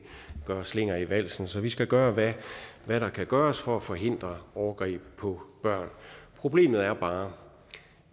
være slinger i valsen så vi skal gøre hvad der kan gøres for at forhindre overgreb på børn problemet er bare